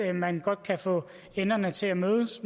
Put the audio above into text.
at man godt kan få enderne til at mødes